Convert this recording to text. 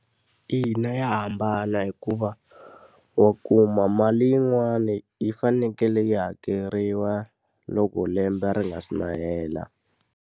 Ina, ya hambana hikuva wa kuma mali yin'wani yi fanekele yi hakeriwa loko lembe ri nga si na hela.